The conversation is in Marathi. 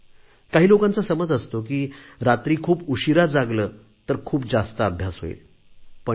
काही लोकांचा समज असतो की रात्री खूप उशीरा जागले तर खूप जास्त अभ्यास होईल पण नाही